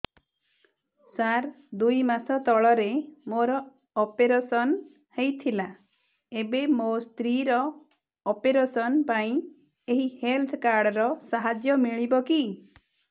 ସାର ଦୁଇ ମାସ ତଳରେ ମୋର ଅପେରସନ ହୈ ଥିଲା ଏବେ ମୋ ସ୍ତ୍ରୀ ର ଅପେରସନ ପାଇଁ ଏହି ହେଲ୍ଥ କାର୍ଡ ର ସାହାଯ୍ୟ ମିଳିବ କି